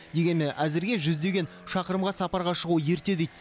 дегенмен әзірге жүздеген шақырымға сапарға шығу ерте дейді